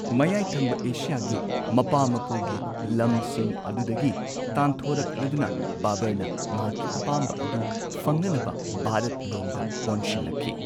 ꯃꯌꯥꯏ ꯊꯪꯕ ꯑꯦꯁꯤꯌꯥꯒꯤ ꯃꯄꯥ ꯃꯄꯨꯒꯤ ꯂꯝꯁꯤꯡ ꯑꯗꯨꯗꯒꯤ ꯇꯥꯟꯊꯣꯔꯛꯂꯗꯨꯅ, ꯕꯥꯕꯔꯅ ꯃꯍꯥꯛꯀꯤ ꯑꯄꯥꯝꯕ ꯑꯗꯨ ꯐꯪꯅꯅꯕ ꯚꯥꯔꯠ ꯂꯣꯝꯗ ꯑꯣꯟꯁꯤꯜꯂꯛꯈꯤ꯫